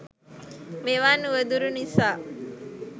මෙවන් උවදුරු නිසා